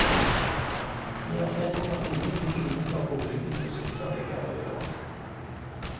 Det offentlige har ingenting innenfor boligens yttervegger å gjøre.